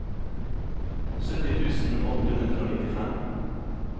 sytti tusen åtte hundre og nittifem